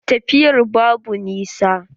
Tafiyar babu nisa.